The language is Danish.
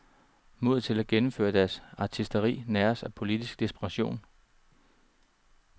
Modet til at gennemføre deres artisteri næres af politisk desperation.